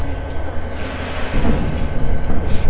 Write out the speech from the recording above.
பயங்கரவாதத்தின் மீது போர் என்று கூறப்படுவது